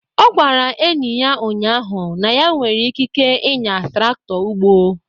Ọ gwara enyi ya ụnyaahụ na ya nwere ikike ịnya traktọ ugbo.